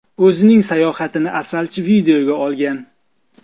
O‘zining sayohatini asalchi videoga olgan.